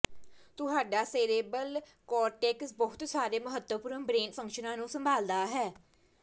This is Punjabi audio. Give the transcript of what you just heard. ਤੁਹਾਡਾ ਸੇਰੇਬ੍ਰਲ ਕਾਰਟੇਕਸ ਬਹੁਤ ਸਾਰੇ ਮਹੱਤਵਪੂਰਨ ਬ੍ਰੇਨ ਫੰਕਸ਼ਨਾਂ ਨੂੰ ਸੰਭਾਲਦਾ ਹੈ